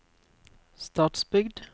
Stadsbygd